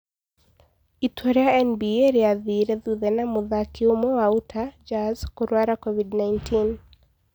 Itua rĩa NBA rĩathire thutha wa mũthaki ũmwe wa Utah Jazz kũrũara COVID-19.